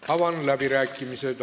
Avan läbirääkimised.